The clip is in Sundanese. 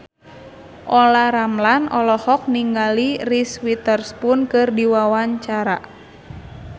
Olla Ramlan olohok ningali Reese Witherspoon keur diwawancara